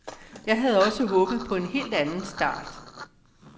Jeg havde også håbet på en helt anden start.